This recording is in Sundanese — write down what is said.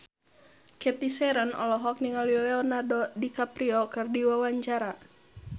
Cathy Sharon olohok ningali Leonardo DiCaprio keur diwawancara